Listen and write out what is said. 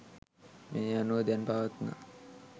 මේ අනුව දැන් පවත්නා